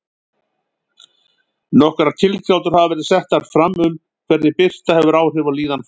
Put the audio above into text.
Nokkrar tilgátur hafa verið settar fram um hvernig birta hefur áhrif á líðan fólks.